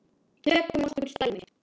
Tökum nokkur dæmi.